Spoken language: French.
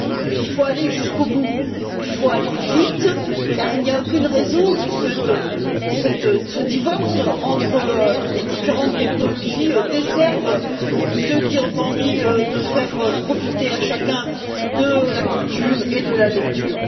Il faut aller jusqu'au bout et il faut aller vite car il n'y a aucune raison que ce divorce entre les différentes technologies desserve ceux qui ont envie de faire profiter chacun de la culture et de la lecture.